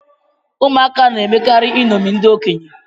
Ụmụaka na-emekarị iṅomi ndị okenye